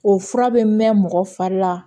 O fura bɛ mɛn mɔgɔ fari la